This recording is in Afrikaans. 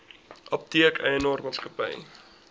apteek eienaar maatskappy